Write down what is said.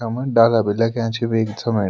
यम डाला भी लग्याँ छि वेक समणी।